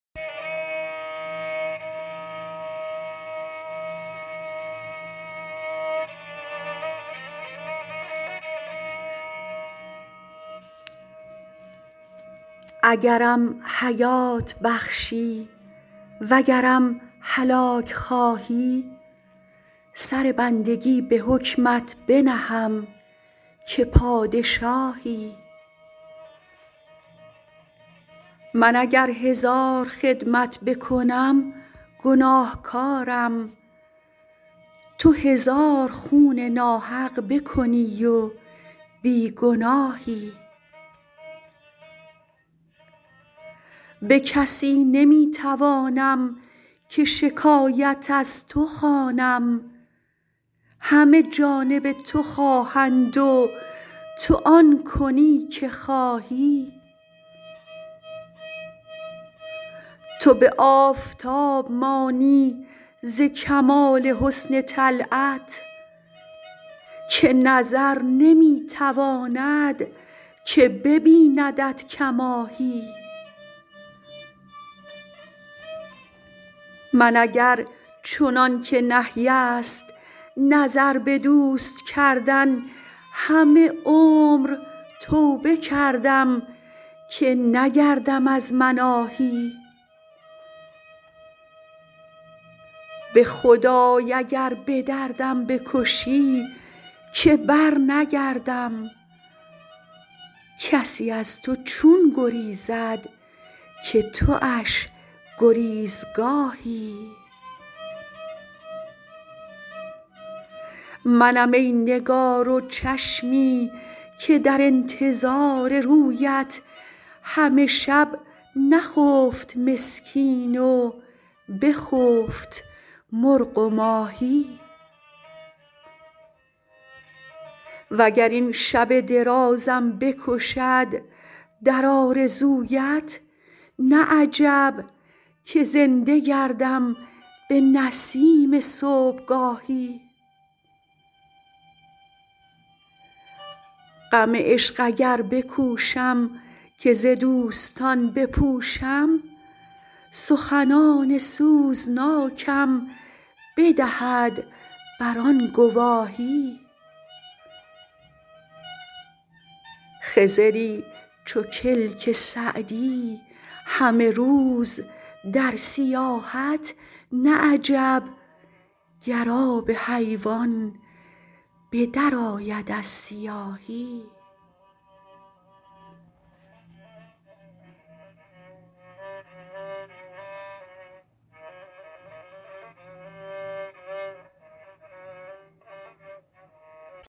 اگرم حیات بخشی وگرم هلاک خواهی سر بندگی به حکمت بنهم که پادشاهی من اگر هزار خدمت بکنم گناهکارم تو هزار خون ناحق بکنی و بی گناهی به کسی نمی توانم که شکایت از تو خوانم همه جانب تو خواهند و تو آن کنی که خواهی تو به آفتاب مانی ز کمال حسن طلعت که نظر نمی تواند که ببیندت کماهی من اگر چنان که نهی است نظر به دوست کردن همه عمر توبه کردم که نگردم از مناهی به خدای اگر به دردم بکشی که برنگردم کسی از تو چون گریزد که تواش گریزگاهی منم ای نگار و چشمی که در انتظار رویت همه شب نخفت مسکین و بخفت مرغ و ماهی و گر این شب درازم بکشد در آرزویت نه عجب که زنده گردم به نسیم صبحگاهی غم عشق اگر بکوشم که ز دوستان بپوشم سخنان سوزناکم بدهد بر آن گواهی خضری چو کلک سعدی همه روز در سیاحت نه عجب گر آب حیوان به درآید از سیاهی